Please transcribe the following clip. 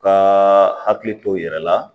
Ka hakili to u yɛrɛ la